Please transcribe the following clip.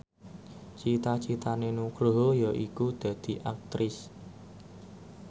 cita citane Nugroho yaiku dadi Aktris